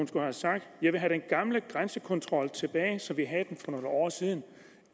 skulle have sagt jeg vil have den gamle grænsekontrol tilbage som vi havde den for nogle år siden